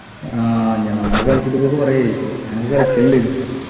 ആഹ് ഞാനത് കളിച്ചിട്ടിപ്പോ കുറെയായി ഞാനത് കളിക്കലിണ്ടെർന്ന്